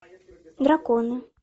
драконы